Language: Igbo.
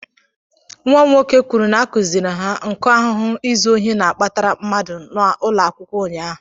Nwa m nwoke kwuru na a kụziiri ha nku ahụhụ izu ohi na-akpatara mmadụ n'ụlọakwụkwọ ụnyaahụ.